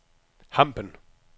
Hampen